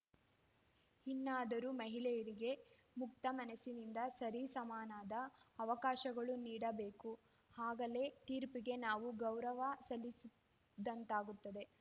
ಇನಾದರೂ ಮಹಿಳೆಯರಿಗೆ ಮುಕ್ತ ಮನಸ್ಸಿನಿಂದ ಸರಿ ಸಮಾನಾದ ಅವಕಾಶಗಳು ನೀಡಬೇಕು ಆಗಲೇ ತೀರ್ಪೀಗೆ ನಾವು ಗೌರವ ಸಲ್ಲಿಸಿದಂತಾಗುತ್ತದೆ